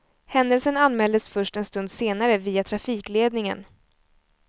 Händelsen anmäldes först en stund senare via trafikledningen.